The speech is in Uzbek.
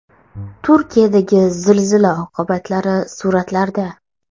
Turkiyadagi zilzila oqibatlari suratlarda.